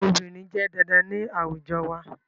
Obìnrin jẹ́ dandan ní àwùjọ wa